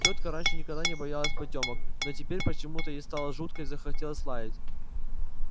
тётка раньше никогда не боялась потёмок но теперь почему-то ей стало жутко и захотелось лаять